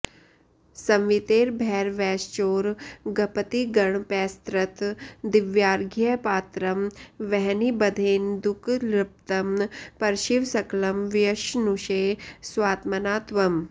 संवीतैर्भैरवैश्चोरगपतिगणपैस्तत्र दिव्यार्घ्यपात्रं वह्निबध्नेन्दुक्लृप्तं परशिव सकलं व्यश्नुषे स्वात्मना त्वम्